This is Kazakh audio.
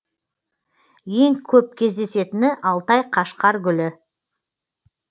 ең көп кездесетіні алтай қашқаргүлі